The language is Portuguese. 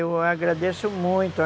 Eu agradeço muito.